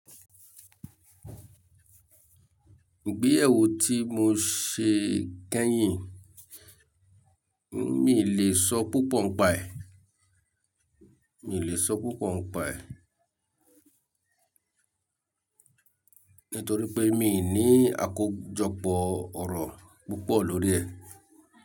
Ìgbéyàwó tí mo ṣe kẹ́yìn, mi lè sọ púpọ̀ ń pa è, mi lè sọ púpọ̀ ń pa è nítorí pé mi ní àkójọpọ̀ ọ̀rọ̀ púpọ̀ lórí ẹ̀.